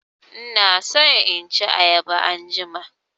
Ina so in ci ayaba anjima.